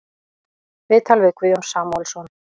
Viðtal við Guðjón Samúelsson